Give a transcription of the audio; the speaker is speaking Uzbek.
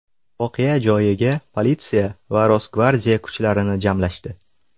Voqea joyiga politsiya va Rosgvardiya kuchlarini jamlashdi.